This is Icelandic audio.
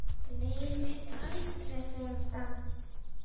Gleymi aldrei þeim dansi.